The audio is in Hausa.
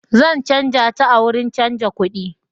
Zan canja ta a wurin canja kudi.